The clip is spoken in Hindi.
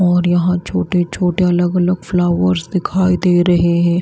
और यहां छोटे-छोटे अलग-अलग फ्लावर्स दिखाई दे रहे हैं।